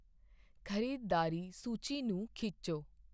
ਖ਼ਰੀਦਦਾਰੀ ਸੂਚੀ ਨੂੰ ਖਿੱਚੋ